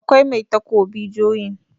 akwai Mai takobi joyin